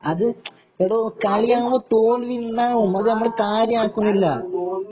അത് എടോ കളിയാവുമ്പോ തോൽവിയുണ്ടാകും അത് ഞമ്മള് കാരയാക്കുന്നില്ല